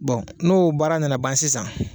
Bon n'o baara nana ban sisan